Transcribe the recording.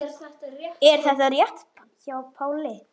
Er þetta rétt hjá Páli?